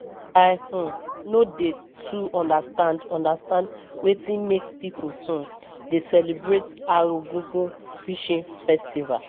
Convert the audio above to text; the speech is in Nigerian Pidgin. I um no dey too understand understand wetin make pipu um dey celebrate Arugungu Fishing festival.